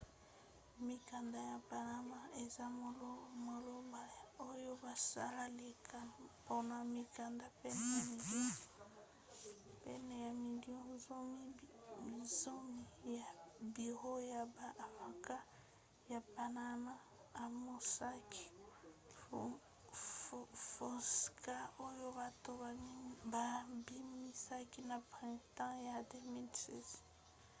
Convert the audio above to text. mikanda ya panama eza maloba oyo basalelaka mpona mikanda pene ya milio zomi ya biro ya ba avoka ya panama ya mossack fonseca oyo bato babimisaki na printemps ya 2016